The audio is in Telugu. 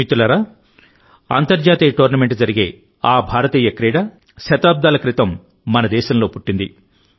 మిత్రులారా అంతర్జాతీయ టోర్నమెంటు జరిగే ఆ భారతీయ క్రీడ శతాబ్దాల క్రితం మనదేశంలో పుట్టింది